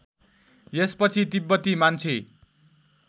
यसपछि तिब्बती मान्छे